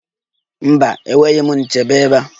Mba enweghị m nchebe ebea